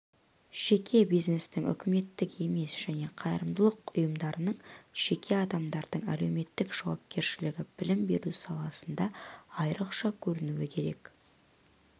жеке бизнестің үкіметтік емес және қайырымдылық ұйымдарының жеке адамдардың әлеуметтік жауапкершілігі білім беру саласында айрықша көрінуі керек